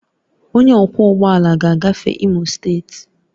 Onye ọkwọ ụgbọ ala ga-agafe Imo steeti